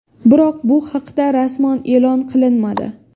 Biroq bu haqda rasman e’lon qilinmadi.